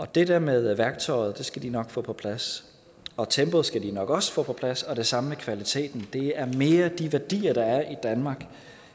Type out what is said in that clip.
det der med værktøjet skal de nok få på plads og tempoet skal de nok også få på plads og det samme med kvaliteten det er mere de værdier der er i danmark